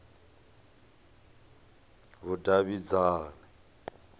vhudavhidzani